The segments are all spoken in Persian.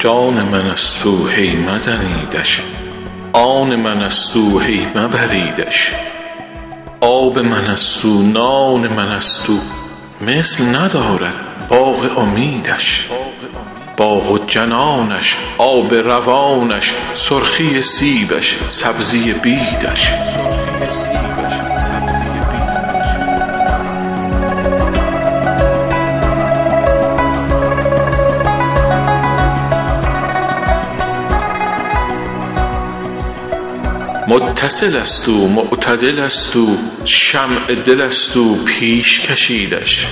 جان من ست او هی مزنیدش آن من ست او هی مبریدش آب من ست او نان من ست او مثل ندارد باغ امیدش باغ و جنانش آب روانش سرخی سیبش سبزی بیدش متصل ست او معتدل ست او شمع دل ست او پیش کشیدش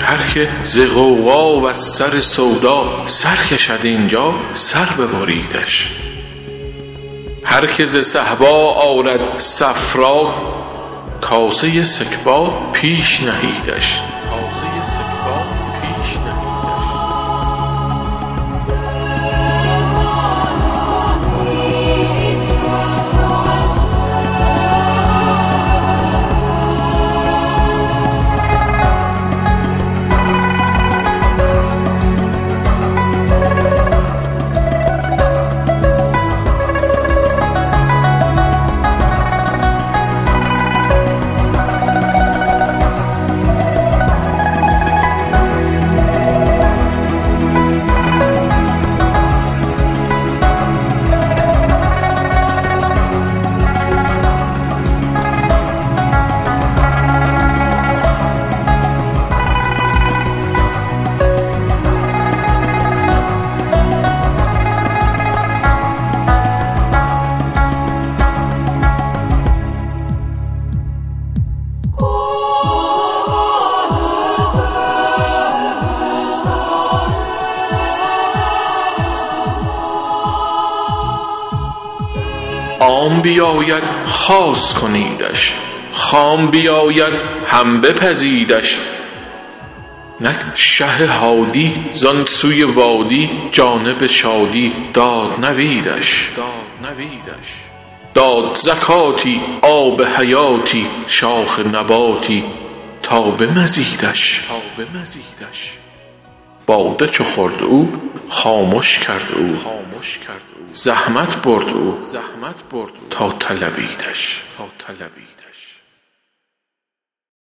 هر که ز غوغا وز سر سودا سر کشد این جا سر ببریدش هر که ز صهبا آرد صفرا کاسه سکبا پیش نهیدش عام بیاید خاص کنیدش خام بیاید هم بپزیدش نک شه هادی زان سوی وادی جانب شادی داد نویدش داد زکاتی آب حیاتی شاخ نباتی تا به مزیدش باده چو خورد او خامش کرد او زحمت برد او تا طلبیدش